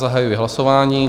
Zahajuji hlasování.